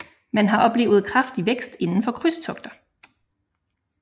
Man har oplevet kraftig vækst inden for krydstogter